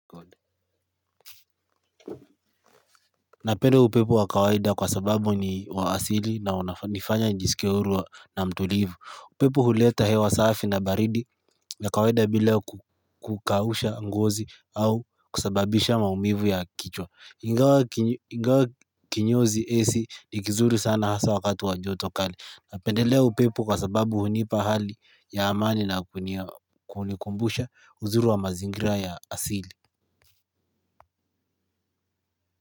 Napendelea upepo wa kawaida kwa sababu ni wa asili na unanifanya nijisikie huru na mtulivu. Upepo huleta hewa safi na baridi na kawaida bila kukausha ngozi au kusababisha maumivu ya kichwa. Ingawa kinyozi ac ni kizuri sana hasa wakati wa joto kali. Napendelea upepo kwa sababu hunipa hali ya amani na kunikumbusha uzuri wa mazingira ya asili.